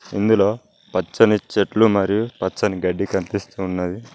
ఇందులో పచ్చని చెట్లు మరియు పచ్చని గడ్డి కనిపిస్తూ ఉన్నది.